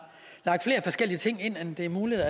lagt flere forskellige ting ind end det er muligt